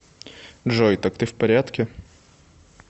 джой так ты в порядке